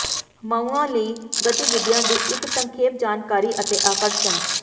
ਮਾਊਆਂ ਲਈ ਗਤੀਵਿਧੀਆਂ ਦੀ ਇੱਕ ਸੰਖੇਪ ਜਾਣਕਾਰੀ ਅਤੇ ਆਕਰਸ਼ਣ